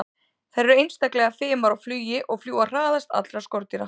Þær eru einstaklega fimar á flugi og fljúga hraðast allra skordýra.